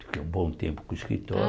Fiquei um bom tempo com o escritório. Ah